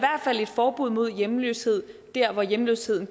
forbud mod hjemløshed der hvor hjemløsheden